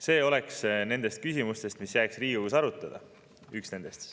See oleks üks nendest küsimustest, mis jääks Riigikogus arutada.